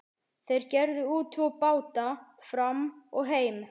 Þeir gerðu út tvo báta, Fram og Heim.